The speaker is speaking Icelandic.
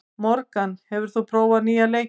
Morgan, hefur þú prófað nýja leikinn?